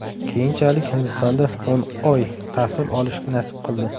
Keyinchalik Hindistonda o‘n oy tahsil olish nasib qildi.